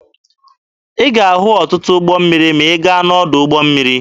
Ị ga-ahụ ọtụtụ ụgbọ mmiri ma ị gaa n'ọdụ ụgbọ mmiri.